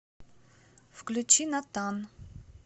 включи натан